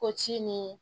Ko ci ni